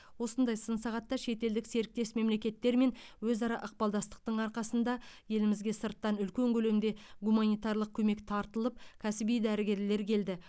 осындай сын сағатта шетелдік серіктес мемлекеттермен өзара ықпалдастықтың арқасында елімізге сырттан үлкен көлемде гуманитарлық көмек тартылып кәсіби дәрігерлер келді